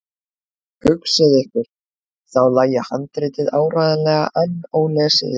Hugsið ykkur, þá lægi handritið áreiðanlega enn ólesið í þessum kassa!